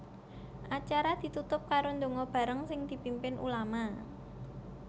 Acara ditutup karo ndonga bareng sing dipimpin ulama